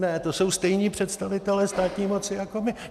Ne, to jsou stejní představitelé státní moci jako my.